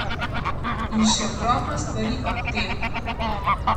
In še ogromno stvari ob tem.